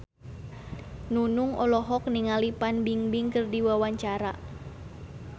Nunung olohok ningali Fan Bingbing keur diwawancara